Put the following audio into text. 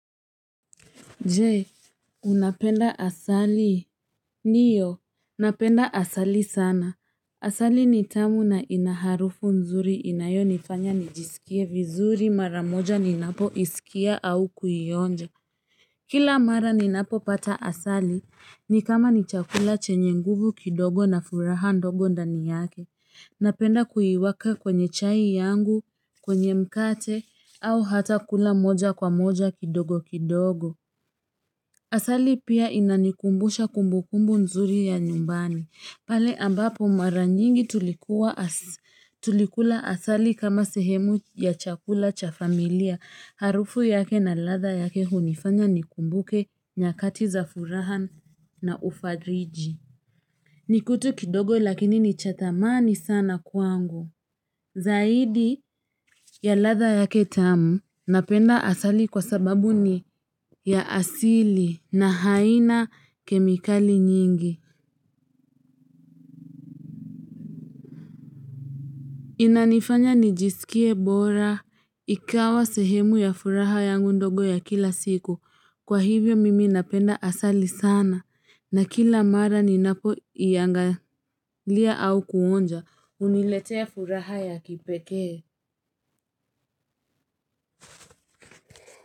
Jee, unapenda asali. Niyo, napenda asali sana. Asali nitamu na inaharufu nzuri inayo nifanya nijisikie vizuri maramoja ninapo isikia au kuyionja. Kila mara ninapo pata asali, ni kama ni chakula chenye nguvu kidogo na furaha ndogo ndani yake. Napenda kuiwaka kwenye chai yangu, kwenye mkate, au hata kula moja kwa moja kidogo kidogo. Asali pia inanikumbusha kumbukumbu nzuri ya nyumbani. Pale ambapo mara nyingi tulikula asali kama sehemu ya chakula cha familia. Harufu yake na ladha yake hunifanya nikumbuke nyakati za furaha na ufadriji. Nikutu kidogo lakini ni chatamani sana kuangu. Zaidi ya ladha yake tamu napenda asali kwa sababu ni ya asili na haina kemikali nyingi. Inanifanya nijisikie bora ikawa sehemu ya furaha ya ndogo ya kila siku. Kwa hivyo mimi napenda asali sana na kila mara ni napo iangalia au kuonja uniletea furaha ya kipekee.